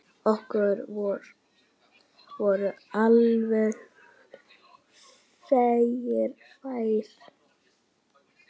Okkur voru allir vegir færir.